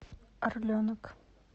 орленок